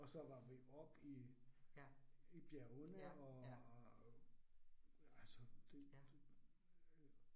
Og så var vi oppe i i bjergene og altså det det øh